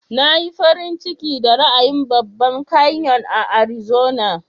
Na yi farin ciki da ra'ayin babban kanyon a Arizona.